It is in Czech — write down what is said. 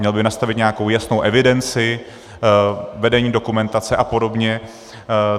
Měl by nastavit nějakou jasnou evidenci, vedení dokumentace a podobně.